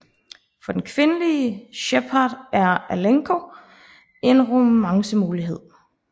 For den kvindelige Shepard er Alenko en romance mulighed